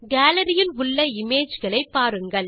gallery இல் உள்ள image களை பாருங்கள்